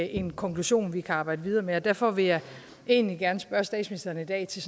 en konklusion vi kan arbejde videre med og derfor vil jeg egentlig gerne spørge statsministeren i dag til